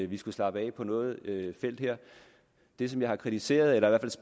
vi skulle slappe af på noget felt her det som jeg har kritiseret